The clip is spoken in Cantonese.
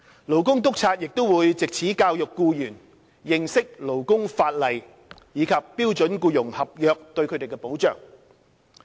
勞工督察亦會藉此教育僱員認識勞工法例及標準僱傭合約對他們的保障。